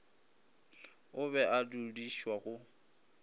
o be a dudišwa go